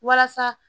Walasa